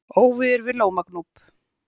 Óveður við Lómagnúp